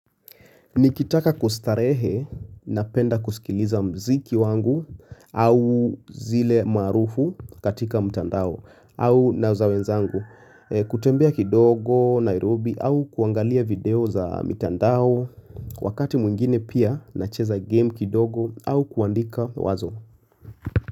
Nikitaka kustarehe napenda kusikiliza muziki wangu au zile maarufu katika mtandao au na za wenzangu. Kutembea kidogo, Nairobi au kuangalia video za mtandao wakati mwingine pia nacheza game kidogo au kuandika wazo.